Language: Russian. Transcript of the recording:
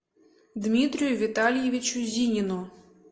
дмитрию витальевичу зинину